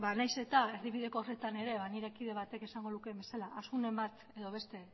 nahiz eta erdibideko horretan ere nire kide batek esango lukeen bezala asunen bat edo beste